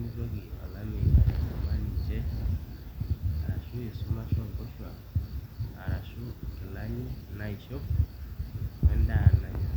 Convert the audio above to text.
mitoki olameyu aiatanyamal ninche arashu inkilani naishop o endaa nanya.